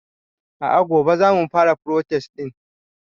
a'a gobe zamu fara protest din